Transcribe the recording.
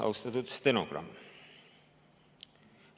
Austatud stenogramm!